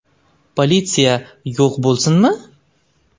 Politsiya yo‘q bo‘lsinmi?